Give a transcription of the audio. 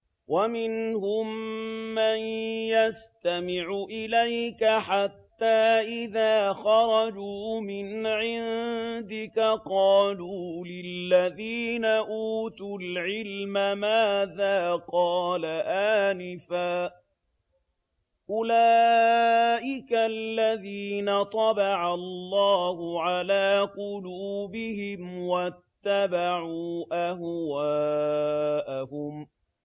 وَمِنْهُم مَّن يَسْتَمِعُ إِلَيْكَ حَتَّىٰ إِذَا خَرَجُوا مِنْ عِندِكَ قَالُوا لِلَّذِينَ أُوتُوا الْعِلْمَ مَاذَا قَالَ آنِفًا ۚ أُولَٰئِكَ الَّذِينَ طَبَعَ اللَّهُ عَلَىٰ قُلُوبِهِمْ وَاتَّبَعُوا أَهْوَاءَهُمْ